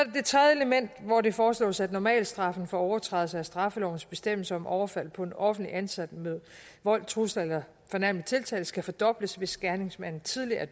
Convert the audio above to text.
element hvor det foreslås at normalstraffen for overtrædelse af straffelovens bestemmelser om overfald på en offentligt ansat med vold trusler eller fornærmelig tiltale skal fordobles hvis gerningsmanden tidligere